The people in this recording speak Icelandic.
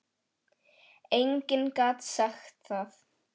Enginn gat sagt það.